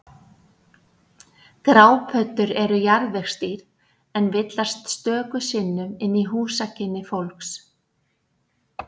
Grápöddur eru jarðvegsdýr en villast stöku sinnum inn í húsakynni fólks.